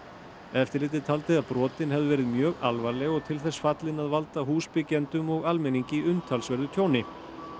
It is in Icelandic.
eftirlitið taldi að brotin hefðu verið mjög alvarleg og til þess fallin að valda húsbyggjendum og almenningi umtalsverðu tjóni